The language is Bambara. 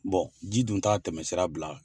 Bɔn ji dun taa tɛmɛsira bila